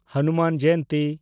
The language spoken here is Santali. ᱦᱚᱱᱩᱢᱟᱱ ᱡᱚᱭᱚᱱᱛᱤ